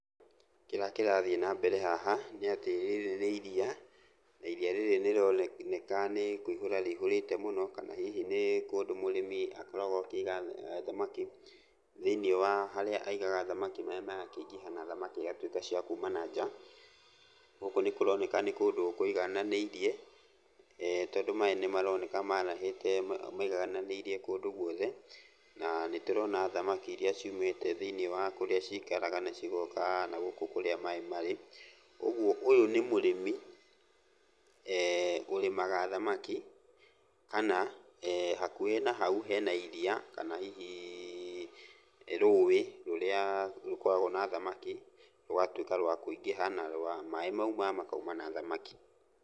Kĩrĩa kĩrathiĩ nambere haha nĩatĩ rĩrĩ nĩ iria, na iria rĩrĩ nĩrĩroneka nĩ kũihũra rĩihũrĩte mũno, kana hihi nĩ kũndũ mũrĩmi akoragwo akĩiga thamaki, thĩiniĩ wa harĩa aigaga thamaki, maĩ magakĩingĩha na thamaki igatuĩka cia kuma na nja. Gũkũ nĩ kũroneka nĩ kũndũ kũigananĩirie tondũ maĩ nĩmaroneka marahĩte maigananĩirie kũndũ guothe. Na, nĩtũrona thamaki iria ciumĩte thĩiniĩ wa kũrĩa cikaraga na cigoka nagũkũ kũrĩa maĩ marĩ. Ũguo, ũyũ nĩ mũrĩmi ũrĩmaga thamaki kana hakuhĩ na hau hena iria kana hihi rũĩ rũrĩa rũkoragwo na thamaki, rũgatuĩka rwa kũingĩha na rwa maĩ mauma makauma na thamaki.